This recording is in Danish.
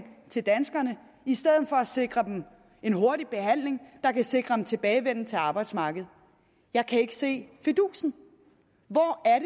til danskerne i stedet for at sikre dem en hurtig behandling der kan sikre en tilbagevenden til arbejdsmarkedet jeg kan ikke se fidusen hvor er